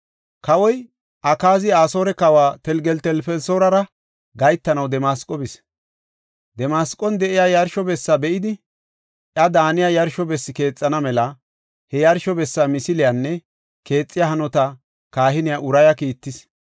Kawoy Akaazi Asoore kawa Telgeltelfelisoorara gahetanaw Damasqo bis. Damasqon de7iya yarsho bessa be7idi, iya daaniya yarsho bessi keexana mela, he yarsho bessa misiliyanne keexiya hanota kahiniya Uraya kiittis.